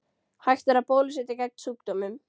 Hægt er að bólusetja gegn sjúkdómnum.